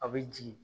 A bɛ jigin